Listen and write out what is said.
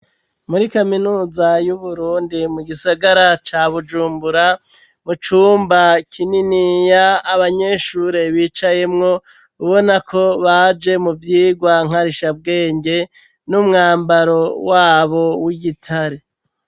Muri kaminuza y'uburundi mu gisagara ca bujumbura, mu cumba kininiya abanyeshure bicayemwo ubona ko baje mu vyigwa nkarishabwenge n'umwambaro wabo w'igitare.